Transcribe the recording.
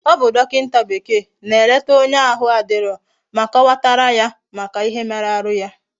Obu dokinta bekee na eleta onye ahu na adiro, ma kowatara ya Maka ihe mere ahu ya